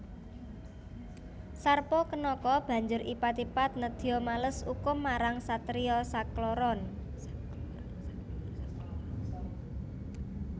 Sarpakenaka banjur ipat ipat nedya males ukum marang satriya sakloron